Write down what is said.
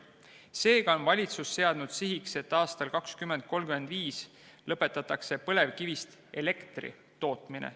Seega on valitsus seadnud sihiks, et aastal 2035 lõpetatakse põlevkivist elektri tootmine.